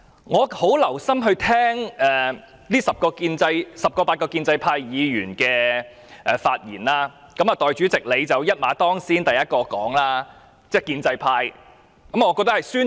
我很留心聆聽這十位八位建制派議員的發言，代理主席一馬當先，是第一位發言的建制派議員。